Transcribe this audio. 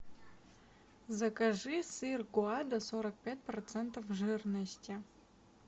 закажи сыр гоада сорок пять процентов жирности